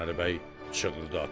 Qurbanəli bəy çığırdı ata: